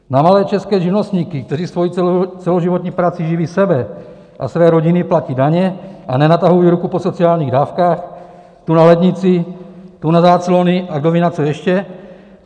Na malé české živnostníky, kteří svou celoživotní prací živí sebe a své rodiny, platí daně a nenatahují ruku po sociálních dávkách tu na lednici, tu na záclony a kdo ví, na co ještě.